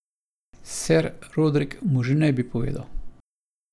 Ser Rodrik mu že ne bi povedal.